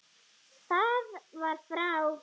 Það var frá